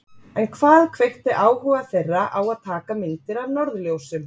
En hvað kveikti áhuga þeirra á að taka myndir af norðurljósum?